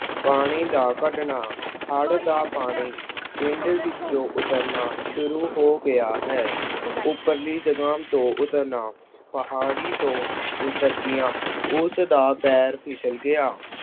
ਪਾਣੀ ਦਾ ਕੱਢਣਾ- ਹੜ੍ਹ ਦਾ ਪਾਣੀ ਪਿੰਡ ਵਿੱਚੋਂ ਉੱਤਰਨਾ ਸ਼ੁਰੂ ਹੋ ਗਿਆ ਹੈ। ਉੱਪਰਲੀ ਜਗ੍ਹਾਂ ਤੋਂ ਉੱਤਰਨਾ - ਪਹਾੜੀ ਤੋਂ ਉੱਤਰਦਿਆਂ ਉਸਦਾ ਪੈਰ ਫਿਸਲ ਗਿਆ।